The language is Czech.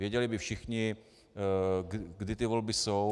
Věděli by všichni, kdy ty volby jsou.